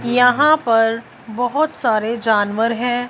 यहां पर बहुत सारे जानवर हैं।